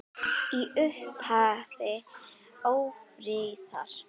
Í upphafi ófriðar